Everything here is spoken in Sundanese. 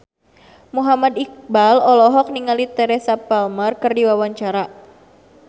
Muhammad Iqbal olohok ningali Teresa Palmer keur diwawancara